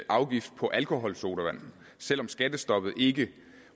afgift på alkoholsodavand selv om skattestoppet ikke